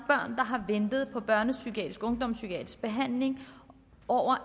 der har ventet på børnepsykiatrisk og ungdomspsykiatrisk behandling i over